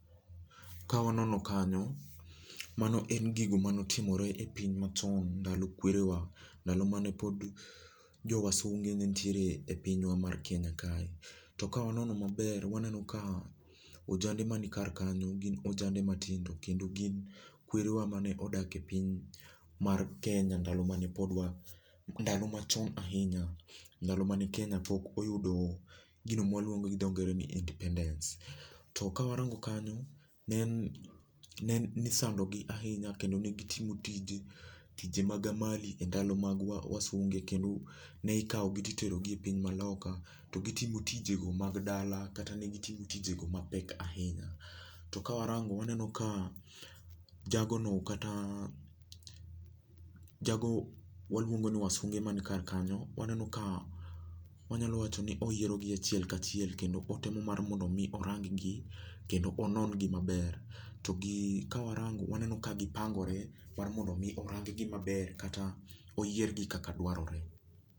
Ka waneno kanyo mano en gigo ma ne otimore e piny ma chon ndalo kwerewa .Ndalo mane pod jo wasunge ne nitiere e pinywa mar Kenya kae to ka wanono ma ber waneno ka ojande ma nikar kanyo gin ojande matindo kendo gin kwerewa mane odak e piny mar Kenya ndalo mane pod wa ,ndalo ma chon ahinya ndalo ma ne Kenya pok oyudo gino ma waluongo gi dho ngere ni independence to ka warango kanyo ne ni isando gi ahinya kendo gi timo tije, tije mag amali e ndalo mag wasunge kendo ne ikawo gi ti itero gi e pinje ma loka to gi timo tije go mag dala kata ne gi timo tije go ma pek ahinya. To ka warango waneno ka jago , waluongo ni wasunge ma ni kar kanyo, waneno ka wa nyalo wacho ni oyiero gi achiel ka achiel kendo otemo mar mondo mi orang gi, kendo onon gi ma ber. To gi ka wa rango waneno ka gi pangre mar mondo mi orang gi ma ber kata oyier gi kaka dwarore.